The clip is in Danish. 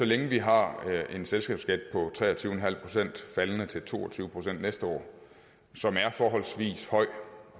længe vi har en selskabsskat på tre og tyve procent faldende til to og tyve procent næste år som er forholdsvis høj